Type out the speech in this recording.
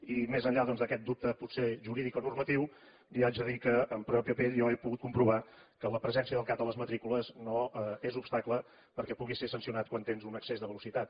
i més enllà d’aquest dubte potser jurídic o normatiu li haig de dir que en pròpia pell jo he pogut comprovar que la presència del cat a les matrícules no és obstacle perquè puguis ser sancionat quan tens un excés de velocitat